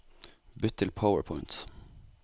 Bytt til PowerPoint